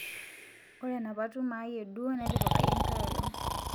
ore enapa tumo ai e duo netipikaki enkae olong